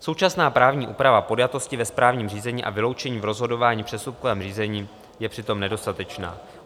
Současná právní úprava podjatosti ve správním řízení a vyloučení v rozhodování v přestupkovém řízení je přitom nedostatečná.